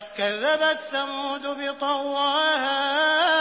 كَذَّبَتْ ثَمُودُ بِطَغْوَاهَا